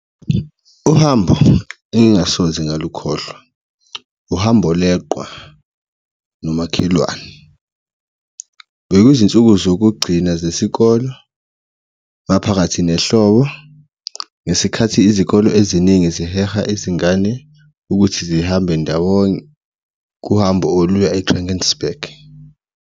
Uhambo engingasoze ngalukhohlwa uhambo leqwa nomakhelwane, bekuyizinsuku zokugcina zesikolo maphakathi nehlobo, ngesikhathi izikolo eziningi ziheha izingane ukuthi zihambe ndawonye kuhambo oluya e-Drankensberg.